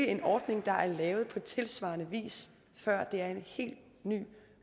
en ordning der er lavet på tilsvarende vis før det er en helt ny